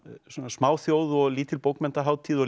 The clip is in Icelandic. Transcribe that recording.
smáþjóð og lítil bókmenntahátíð og